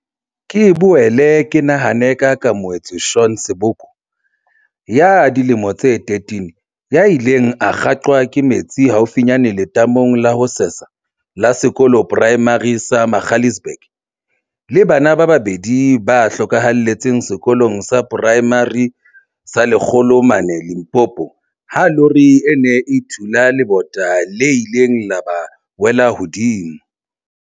Ke boele ke nahane ka Keamohe tswe Shaun Seboko, ya dilemo tse 13, ya ileng a kgaqwa ke metsi haufinyane letamong la ho sesa la sekolo poraemare sa Magaliesburg, le bana ba babedi ba hlokahaletseng Sekolong sa Poraemare sa Lekgolo mane Limpopo ha lori e ne e thula le bota le ileng la ba wela hodimo.